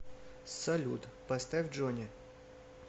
салют поставь джони